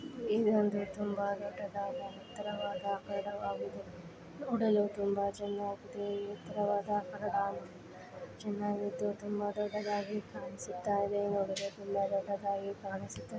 ಇದು ಒಂದು ತುಂಬಾ ದೊಡ್ಡದಾದ ಎತ್ತರವಾದ ಆಕರವಾಗಿದೆ ನೋಡಲು ತುಂಬಾ ಚೆನ್ನಾಗಿ ಎತ್ತರವಾದ ಆಕಾರ ಚೆನ್ನಾಗಿದ್ದು ತುಂಬಾ ದೊಡ್ಡದಾಗಿ ಕಾಣಿಸುತ್ತಾಯಿದೆ ಇದು ತುಂಬಾ ದೊಡ್ಡದಾಗಿ ಕಾಣ್ಣಿಸುತ್ತಿದೆ.